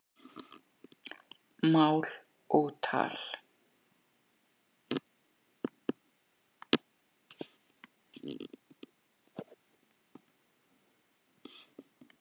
Mál og tal